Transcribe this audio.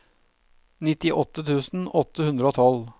nittiåtte tusen åtte hundre og tolv